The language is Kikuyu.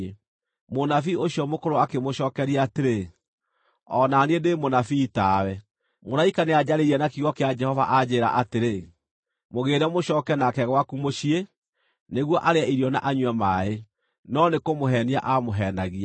Mũnabii ũcio mũkũrũ akĩmũcookeria atĩrĩ, “O na niĩ ndĩ mũnabii tawe. Mũraika nĩanjarĩirie na kiugo kĩa Jehova anjĩĩra atĩrĩ: ‘Mũgĩĩre mũcooke nake gwaku mũciĩ nĩguo arĩe irio na anyue maaĩ.’ ” (No nĩkũmũheenia aamũheenagia).